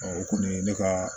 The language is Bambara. o kɔni ye ne ka